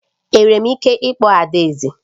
Enwere m ike ịkpọ adaeze?